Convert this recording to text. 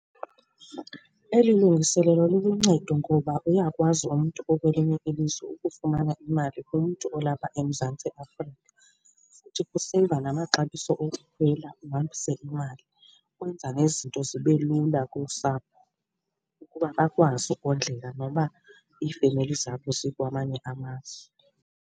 Eli lungiselelo luluncedo ngoba uyakwazi umntu okwelinye ilizwe ukufumana imali kumntu olapha eMzantsi Afrika. Futhi kuseyiva namaxabiso ukukhwela uhambise imali ukwenza nezinto zibe lula kusapho ukuba bakwazi ukondleka noba iifemeli zabo zikwamanye amazwe.